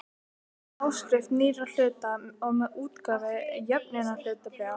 með áskrift nýrra hluta og með útgáfu jöfnunarhlutabréfa.